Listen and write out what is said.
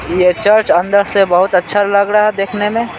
ये चर्च अंदर से बहुत अच्छा लग रहा है देखने में--